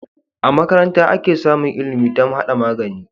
A makaranta ake samun ilimi dam hada magani